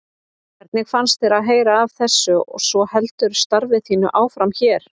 Hvernig fannst þér að heyra af þessu og svo heldurðu starfi þínu áfram hér?